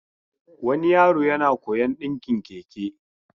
Wani yaro yana koyon dinkin Keke.